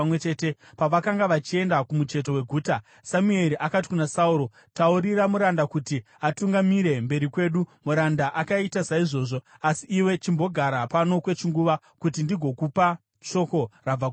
Pavakanga vachienda kumucheto weguta, Samueri akati kuna Sauro, “Taurira muranda kuti atungamire mberi kwedu.” Muranda akaita saizvozvo. “Asi iwe chimbogara pano kwechinguva, kuti ndigokupa shoko rabva kuna Mwari.”